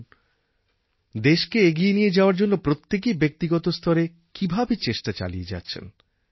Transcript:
দেখুন দেশকে এগিয়ে নিয়ে যাওয়ার জন্য প্রত্যেকেই ব্যক্তিগত স্তরে কীভাবে চেষ্টা চালিয়ে যাচ্ছেন